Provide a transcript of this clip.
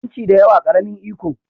Yanci da yawa, ƙaramin iko